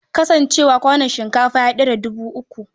Ka san cewa kwanon shinkafa ya ɗara dubu uku?